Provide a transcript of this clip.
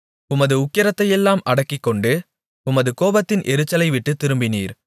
உமது உக்கிரத்தையெல்லாம் அடக்கிக்கொண்டு உமது கோபத்தின் எரிச்சலைவிட்டுத் திரும்பினீர்